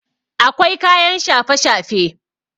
akwai kayan shafe-shafe